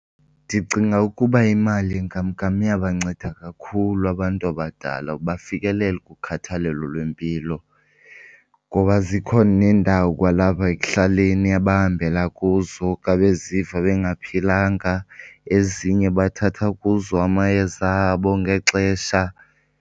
Ndicinga ukuba imali yenkamnkam iyabanceda kakhulu abantu abadala bafikelele kukhathalelo lwempilo ngoba zikhona neendawo kwalapha ekuhlaleni abahambela kuzo xa beziva bengaphilanga, ezinye bathatha kuzo amayeza abo ngexesha.